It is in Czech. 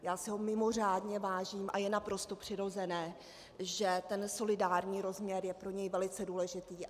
Já si ho mimořádně vážím a je naprosto přirozené, že ten solidární rozměr je pro něj velice důležitý.